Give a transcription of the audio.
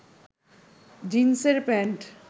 জিন্সের প্যান্ট